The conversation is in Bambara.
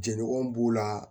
Jenɔgɔnw b'u la